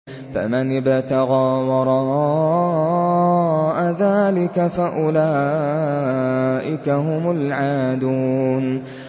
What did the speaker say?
فَمَنِ ابْتَغَىٰ وَرَاءَ ذَٰلِكَ فَأُولَٰئِكَ هُمُ الْعَادُونَ